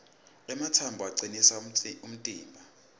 ematsambo acinisa umtimba